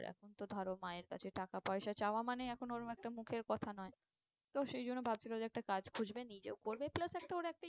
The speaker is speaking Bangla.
এখন তো ধরো মায়ের কাছে টাকা পয়সা চাওয়া মানে এখন ওরম একটা মুখের কথা নয়। তো সেই জন্য ভাবছিলো যে একটা কাজ খুঁজবে নিজেও করবে plus একটা ওর একটা